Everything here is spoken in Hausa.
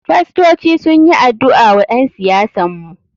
Fastoci sunyi adu'a wa ƴen siyasan mu.